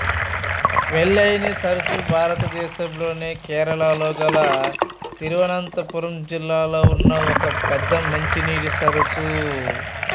వెల్లయాని సరస్సు భారతదేశంలోని కేరళలో గల తిరువనంతపురం జిల్లాలో ఉన్న ఒకపెద్ద మంచినీటి సరస్సు